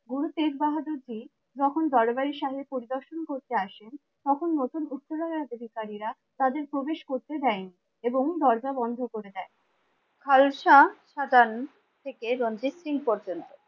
গুরু তেজ বাহাদুর জী যখন দরবারি সাহেব পরিদর্শন করতে আসেন তখন নতুন উৎপীড়নের অধিকারীরা তাদের প্রবেশ করতে দেয়নি এবং দরজা বন্ধ করে দেয়। খালসা সাজান থেকে রণজিৎ সিং পর্যন্ত,